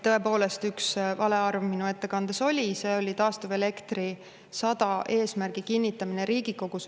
Tõepoolest üks vale arv minu ettekandes oli, see oli taastuvelekter 100 eesmärgi kinnitamine Riigikogus.